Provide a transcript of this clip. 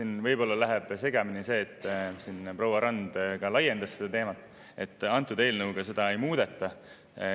Siin võib-olla läheb segamini see – proua Rand ka laiendas seda teemat –, et antud eelnõuga seda ei muudeta.